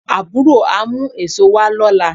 Àbúrò á mú èso wá lọ́la